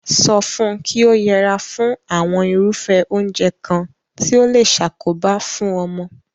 So fun ki o yera fún àwon irúfé oúnje kan ti o le sakoba fun omo